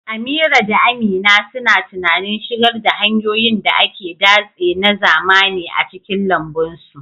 Amira da Amina suna tunanin shigar da hanyoyin da ake datse na zamani a cikin lambun su.